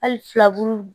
Hali filaburu